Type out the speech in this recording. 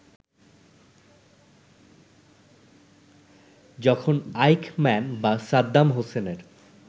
যখন আইখম্যান বা সাদ্দাম হোসেনের